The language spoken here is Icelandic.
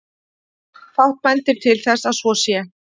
Fátt bendir til þess að svo sé.